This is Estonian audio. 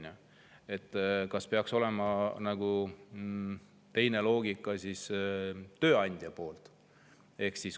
Kas tööandjal peaks olema teine loogika?